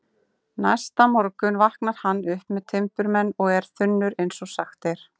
Næsta morgun vaknar hann upp með timburmenn og er þunnur eins og sagt er.